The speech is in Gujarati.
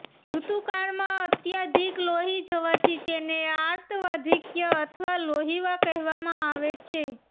ઋતુકાળમાં અત્યાધિક લોહી જવાથી તેને આર્તવાધિક્ય અથવા લોહીવા કહેવામાં આવે છે